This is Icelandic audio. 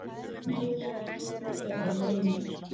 Elsa Hrund og Hilmir.